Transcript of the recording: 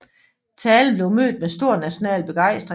Talen blev mødt med stor national begejstring